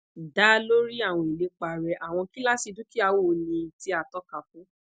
da lori awọn ilepa rẹ awọn kilasi dukia wo ni ti a toka fun